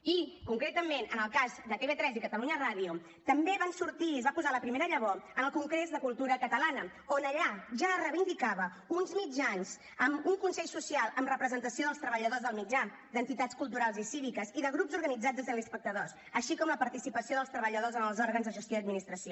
i concretament en el cas de tv3 i catalunya ràdio també van sortir i es va posar la primera llavor en el congrés de cultura catalana on allà ja es reivindicava uns mitjans amb un consell social amb representació dels treballadors del mitjà d’entitats culturals i cíviques i de grups organitzats de telespectadors així com la participació dels treballadors en els òrgans de gestió i administració